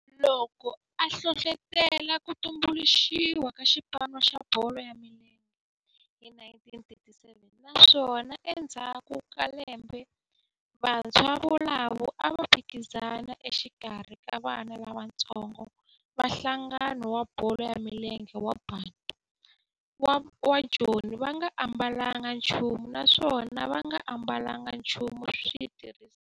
loko a hlohlotela ku tumbuluxiwa ka xipano xa bolo ya milenge hi 1937 naswona endzhaku ka lembe vantshwa volavo a va phikizana exikarhi ka vana lavatsongo va nhlangano wa bolo ya milenge wa Bantu wa Joni va nga ambalanga nchumu naswona va nga ambalanga nchumu xitirhisiwa xa xipano.